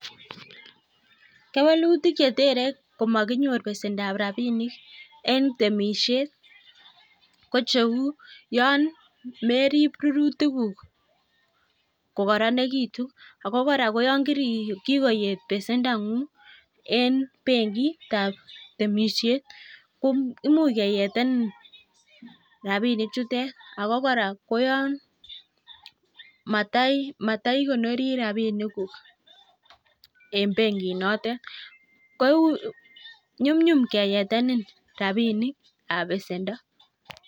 Kewelutik che terei komakinyor besendab rapinik en temishet ko cheu yon merip rurutikuk kokoronekitu. Ako kora koyon kikoyet besendang'ung eng benkitab temishet ko imuch keyetenen rapinichutet. Ako kora ko yon mataikonori rapinikuk eng benkinotet ko nyumnyum keyetenen rapinikab besendo.